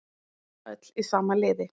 Öll í sama liði